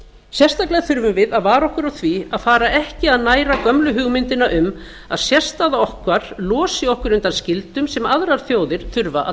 sérstaklega þurfum við að vara okkur á því að fara ekki að næra gömlu hugmyndina um að sérstaða okkar losi okkur undan skyldum sem aðrar þjóðir þurfa að